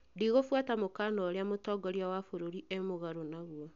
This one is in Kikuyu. Digũbuata mũkana ũria mũtongoria wa bũrũri e mũgarũ naguo